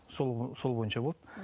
сол бойынша болды